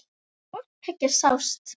Hvort tveggja sást.